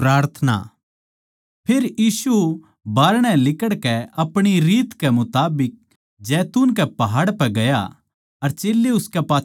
फेर यीशु बारणै लिकड़कै अपणी रीत के मुताबिक जैतून कै पहाड़ पै गया अर चेल्लें उसकै पाच्छै हो लिये